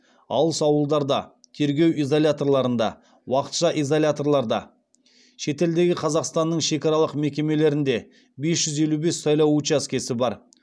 алыс ауылдарда тергеу изоляторларында уақытша изоляторларда шетелдегі қазақстанның шекаралық мекемелерінде бес жүз елу бес сайлау учаскесі бар